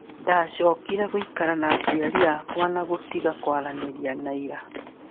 Ndacokire guikara na aciari makwa na kutiga kwaranĩria na Ira